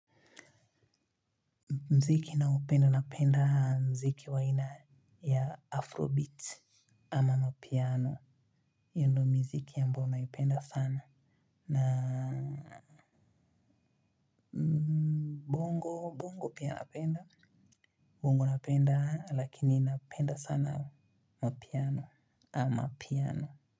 Muziki naupenda napenda muziki wa aina ya Afrobeat. Ama mapiano. Huo ndio muziki ambo naipenda sana. Na bongo bongo pia napenda. Bongo napenda, lakini napenda sana mapiano. Amapiano.